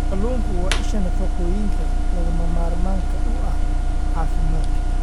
Kalluunku waa isha nafaqooyinka lagama maarmaanka u ah caafimaadka.